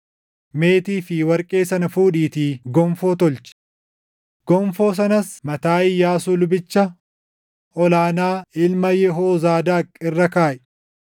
Meetii fi warqee sana fuudhiitii gonfoo tolchi; gonfoo sanas mataa Iyyaasuu lubicha ol aanaa ilma Yehoozaadaaq irra kaaʼi.